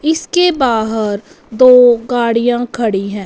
इसके बाहर दो गाड़ियां खड़ी हैं।